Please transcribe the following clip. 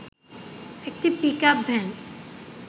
একটি pickup van